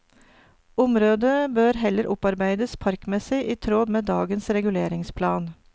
Området bør heller opparbeides parkmessig i tråd med dagens reguleringsplan.